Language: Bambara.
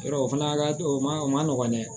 Yɔrɔ o fana ka di o ma o ma nɔgɔn dɛ